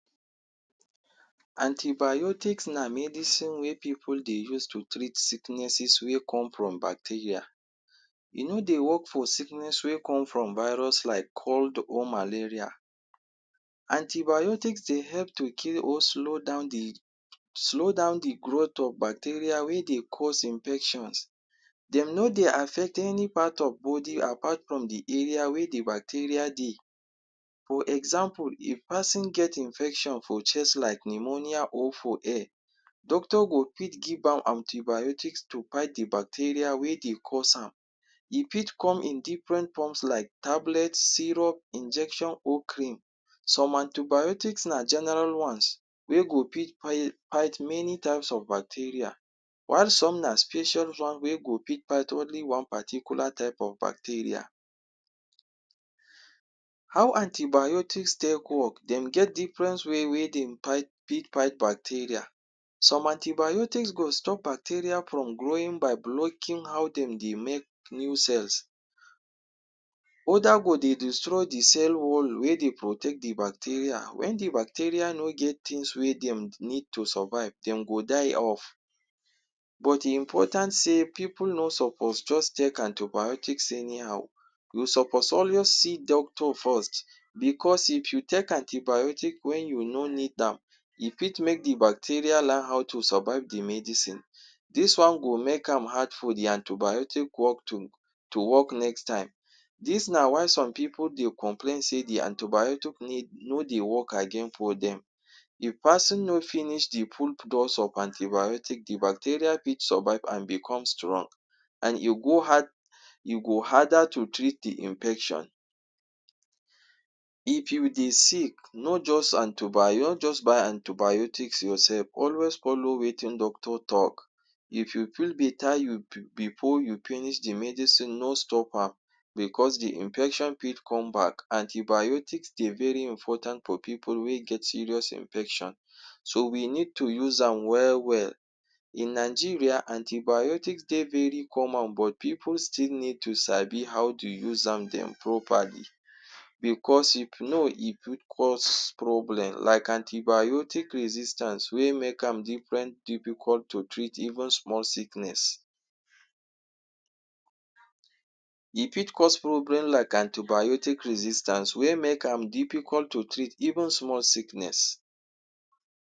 Anti-biotic na medicine wey pipu dey use to treat sicknesses wey come from bacteria. E no dey work for sickness wey come from virus like cold or malaria. Anti-biotic dey help to kill or slow down the, slow down the growth of bacteria wey dey cause infection. De no dey affect any part of body apart from the area where the bacteria dey. For example, If pesin get infection for chest, like pneumonia or for hair, doctor go fit give am anti-bacteria to fight the bacteria wey dey cause am. E fit come in different form like tablet, syrup, injection or cream. Some anti-biotic na general ones wey go fit fight fight many types of bacteria. While some na special one wey go fit fight only one particular type of bacteria. How anti-biotics take work? De get different ways wey dem fight fit fight bacteria. Some anti-biotic go stop bacteria from growing by breaking how dem dey make new cell. Other go dey destroy the cell wall wey dey protect the bacteria. Once the bacteria no get things wey dem need to survive, de go die off. But e important sey pipu no suppose just take anti-biotic anyhow. We suppose always see doctor first because if you take antibiotics when you no need am, e fit make the bacteria learn how to survive the medicine. Dis one go make am hard for the anti-biotic work to to work next time. Dis na why some pipu dey complain say the antibiotic no no dey work again for dem. If pesin no finish the full dose of anti-biotic, the bacteria fit survive and become strong. And e go hard, e go harder to treat the infection. If you dey sick no just anti-bio no just buy antibiotic yourself. Always follow wetin doctor talk. If you feel better you be before you finish the medicine, no stop am because the infection fit come back. Anti-biotic dey very important for pipu wey get serious infection. um So, we need to use am well well. In Nigeria, anti-biotic dey very common but pipu still need to sabi how to use am dem properly because e fit cause problems. Like anti-biotic resistance wey make am different difficult to treat even small sickness. E fit cause problem like anti-biotic resistance wey make am difficult to treat even small sickness.